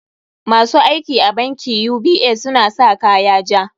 Ma su aiki a bankin UBA suna sa kaya ja.